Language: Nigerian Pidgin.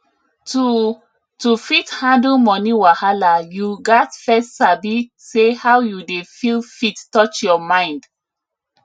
to to fit handle money wahala you gats first sabi say how you dey feel fit touch your mind